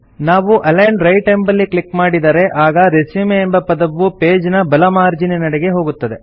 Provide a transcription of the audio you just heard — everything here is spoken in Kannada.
ನಾವು ಅಲಿಗ್ನ್ ರೈಟ್ ಎಂಬಲ್ಲಿ ಕ್ಲಿಕ್ ಮಾಡಿದರೆ ಆಗ ರೆಸ್ಯೂಮ್ ಎಂಬ ಪದವು ಪೇಜ್ ನ ಬಲ ಮಾರ್ಜೀನಿನೆಡೆಗೆ ಹೋಗುತ್ತದೆ